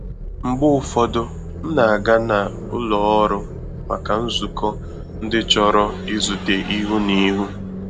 Mgbe ụfọdụ, m na-aga na ụlọ ọrụ màkà nzukọ ndị chọrọ izute ihu na ihu